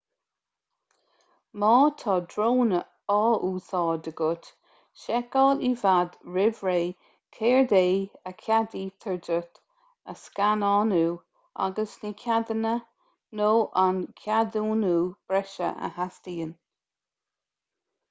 má tá drón á úsáid agat seiceáil i bhfad roimh ré céard é a cheadaítear duit a scannánú agus na ceadanna nó an ceadúnú breise a theastaíonn